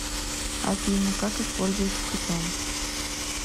афина как используется питон